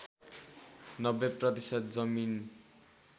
९० प्रतिशत जमिन